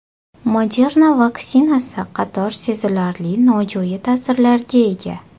Moderna vaksinasi qator sezilarli nojo‘ya ta’sirlarga ega.